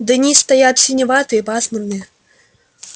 дни стоят синеватые пасмурные